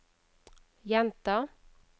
gjenta